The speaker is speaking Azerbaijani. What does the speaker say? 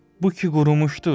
Bu ki qurumuşdur!